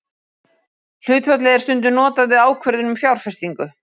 Hlutfallið er stundum notað við ákvörðun um fjárfestingu.